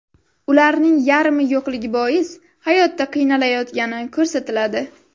Ularning yarmi yo‘qligi bois hayotda qiynalayotgani ko‘rsatiladi.